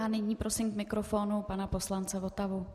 A nyní prosím k mikrofonu pana poslance Votavu.